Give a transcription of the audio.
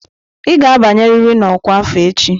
Ị ga-abanyerịrị na ọkwa afọ echi!